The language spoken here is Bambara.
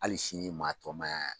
Hali sini maa tɔmaya